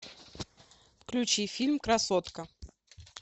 включи фильм красотка